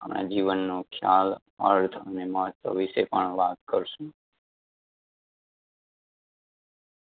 અને જીવનનો ખ્યાલ, અર્થ અને મહત્વ વિષે પણ વાત કરશુ